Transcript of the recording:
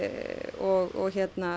og